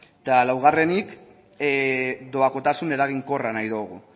ez eta laugarrenik doakotasun eraginkorra nahi dugu